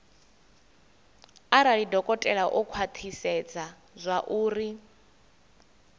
arali dokotela o khwathisedza zwauri